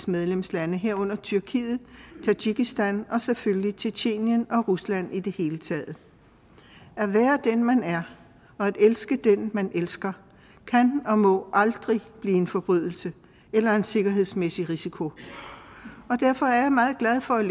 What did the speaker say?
medlemslande herunder tyrkiet tadsjikistan og selvfølgelig tjetjenien og rusland i det hele taget at være den man er og at elske den man elsker kan og må aldrig blive en forbrydelse eller en sikkerhedsmæssig risiko og derfor er jeg meget glad for